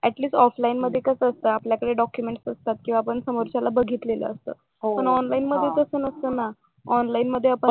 at least offline मध्ये कस असत कि आपल्याकडे डॉक्युमेंट्स असतात किंवा आपण समोरच्याला बघितलेलं असत पण ऑनलाईन मध्ये तसं नसत ना ऑनलाईन मध्ये,